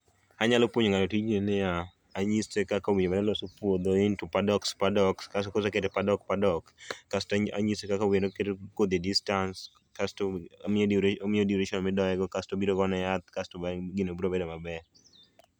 Anyalo puonjo ngato tijni en niya, anyise kaka onego oloso puodho into paddocks paddocks, kasto koseketo e paddock paddock kasto anyise kaka oketo kodhi e distance kasto amiye duration, omiye duration midoye kasto obiro ogone yath kasto bang'e gino biro bedo maber